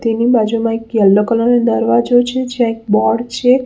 તેની બાજુમાં એક યેલ્લો કલર નો દરવાજો છે જ્યા એક બોર્ડ છે.